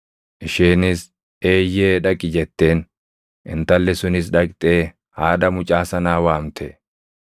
Isheenis, “Eeyyee, dhaqi” jetteen. Intalli sunis dhaqxee haadha mucaa sanaa waamte.